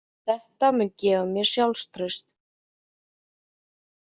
Þetta mun gefa mér sjálfstraust.